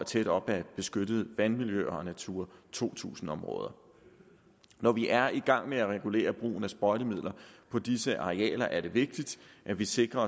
tæt op ad beskyttede vandmiljøer og natura to tusind områder når vi er i gang med at regulere brugen af sprøjtemidler på disse arealer er det vigtigt at vi sikrer